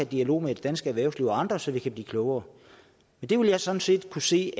dialog med det danske erhvervsliv og andre så vi kan blive klogere det vil jeg sådan set kunne se